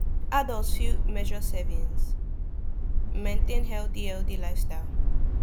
adults fit measure servings maintain healthy healthy lifestyle